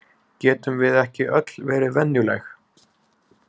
Getum við ekki öll verið venjuleg?